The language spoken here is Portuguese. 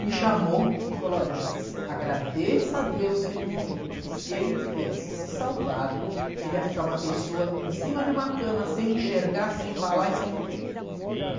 Me chamou e falou, olha Jacir, agradeça a Deus que ele morreu, porque se ele tivesse se salvado, ele ia ficar uma pessoa em cima de uma cama, sem enxergar, sem falar e sem ouvir.